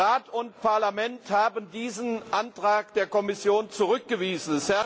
Rat und Parlament haben diesen Antrag der Kommission zurückgewiesen.